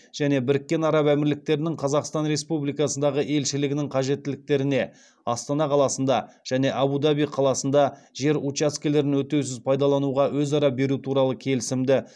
және біріккен араб әмірліктерінің қазақстан республикасындағы елшілігінің қажеттіліктеріне астана қаласында және әбу даби қаласында жер учаскелерін өтеусіз пайдалануға өзара беру туралы келісімді